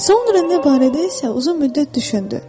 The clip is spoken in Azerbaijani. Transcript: Sonra nə barədə isə uzun müddət düşündü.